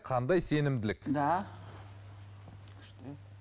қандай сенімділік да